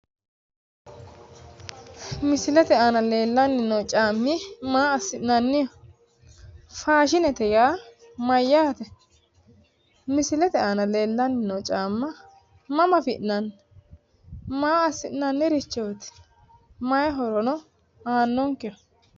Misilete aana leellanni noo caammi massi'nanniho? Faashinete yaa mayyaate? Misilete aana leellanni noo caamma mama afi'nanni? Maa assi'nannirichooti? Mayi horono aannonkeho?